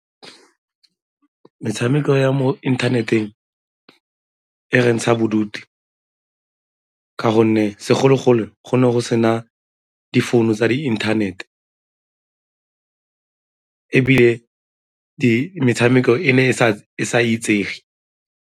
Metshameko ya mo inthaneteng e re ntsha bodutu ka gonne segologolo go ne go sena difounu tsa di-internet ebile metshameko e ne e sa itsege.